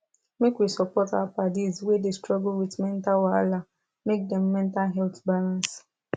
make we support our paddis wey dey struggle with mental wahala make dem mental health balance